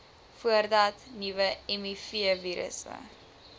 voordat nuwe mivirusse